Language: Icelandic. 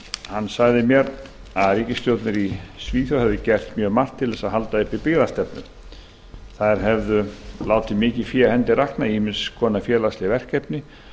hann sagði mér að ríkisstjórnir í svíþjóð hefðu gert mjög margt til þess að halda uppi byggðastefnu þær hefðu látið mikið fé af hendi rakna í ýmiss konar félagsleg verkefni